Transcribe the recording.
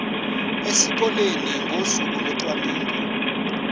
esikoleni ngosuku locwaningo